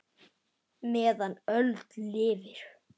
meðan öld lifir